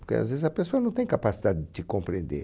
Porque, às vezes, a pessoa não tem capacidade de te compreender.